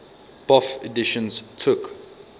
bofh editions took